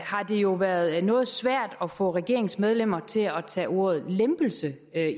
har det jo været noget svært at få regeringens medlemmer til at tage ordet lempelse